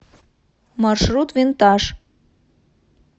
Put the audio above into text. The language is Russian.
маршрут винтаж